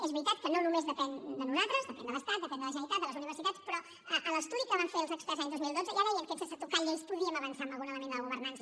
és veritat que no només depèn de nosaltres depèn de l’estat depèn de la generalitat de les universitats però a l’estudi que van fer els experts l’any dos mil dotze ja deien que sense tocar lleis podíem avançar en algun element de la governança